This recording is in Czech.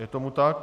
Je tomu tak?